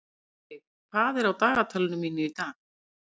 Eyveig, hvað er á dagatalinu mínu í dag?